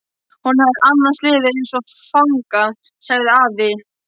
Honum hefði annars liðið eins og fanga, sagði afi.